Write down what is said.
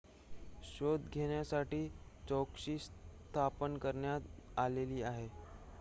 शोध घेण्यासाठी चौकशी स्थापन करण्यात आलेली आहे